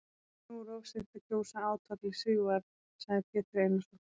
Nú er of seint að kjósa átvaglið Sigvarð, sagði Pétur Einarsson.